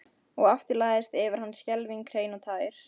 Og aftur lagðist yfir hann skelfing hrein og tær.